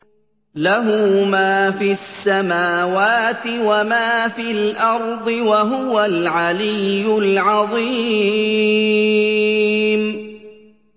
لَهُ مَا فِي السَّمَاوَاتِ وَمَا فِي الْأَرْضِ ۖ وَهُوَ الْعَلِيُّ الْعَظِيمُ